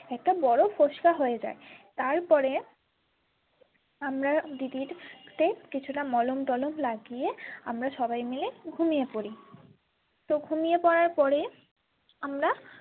একটা বড়ো ফোসকা হয়ে যায় তারপরে আমরা দিদির ফোসকাতে কিছুটা মলম টলম লাগিয়ে আমরা সবাই মিলে ঘুমিয়ে পড়ি তো ঘুমিয়ে পড়ার পরে আমরা।